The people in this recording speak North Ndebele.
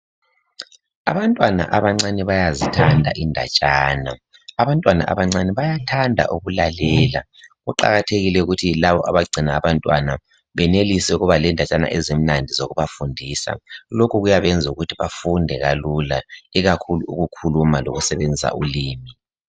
Abantwana abancane bayazithanda indatshana, abantwana abancane bayathanda ukulalela kuqakathekile ukuthi labo abagcina abantwana benelise ukuba lendatshana ezimnandi zokubafundisa, lokhu kuyabenza benelise ukufunda kalula ikakhulu ukukhuluma lokusebenzisa ulimi.